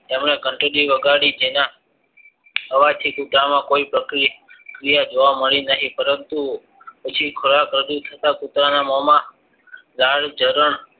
તેમને ઘંટડી લગાડી તેના અવાજથી કૂતરામાં કોઈ પ્રક્રિયા જોવા માલ નહિ પરંતુ પછી ખોરાક રજુ થતા કુતરાના મોમાં લાળજારણ